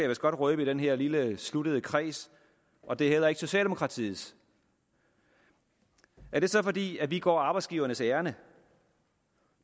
vist godt røbe i den her lille sluttede kreds og det er heller ikke socialdemokratiets er det så fordi vi går arbejdsgivernes ærinde